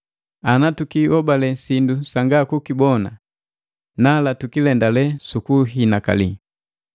Ana tukihobale sindu sanga kukibona nala tukilendalee sukuhinakali.